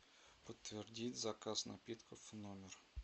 подтвердить заказ напитков в номер